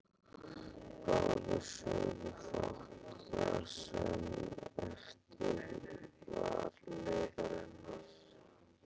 Báðir sögðu fátt það sem eftir var leiðarinnar.